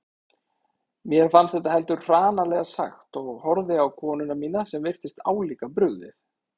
Mér fannst þetta heldur hranalega sagt og horfði á konuna mína sem virtist álíka brugðið.